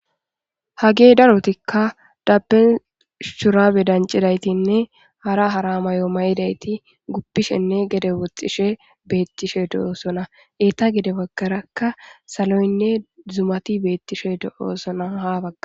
Ha darroti dabbeni shurabe danicidi utishene eqidi betishe dossona etta gede bagaraka saloyine zumati betishe dossona